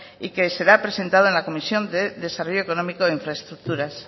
y que será presentada en la comisión de desarrollo económico e infraestructuras